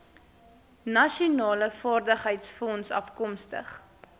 nasionale vaardigheidsfonds afkomstig